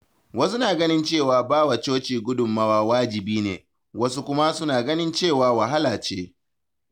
Wasu na ganin cewa ba wa coci gudunmawa wajibi ne, wasu kuma suna ganin cewa wahala ce.